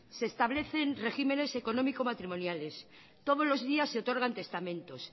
se establecen regímenes económico matrimoniales todos los días se otorgan testamentos